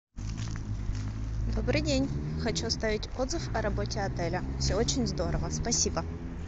добрый день хочу оставить отзыв о работе отеля все очень здорово спасибо